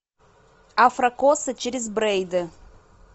афрокосы через брейды